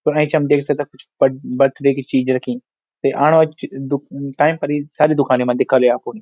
फण एंच हम देखि सकदा कुछ बर्ड-बर्थडे की चीज रखीं ते आण वाली ऐच दु टैम फर ई सारी दुकानी मा दिखाली आपुन।